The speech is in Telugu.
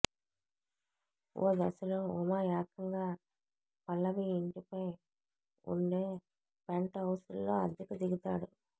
ఓ దశలో ఉమ ఏకంగా పల్లవి ఇంటిపై ఉండే పెంట్ హౌస్లో అద్దెకు దిగుతాడు